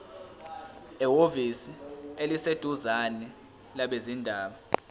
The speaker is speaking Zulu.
ehhovisi eliseduzane labezindaba